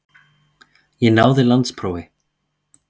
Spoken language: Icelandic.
Ég náði landsprófi.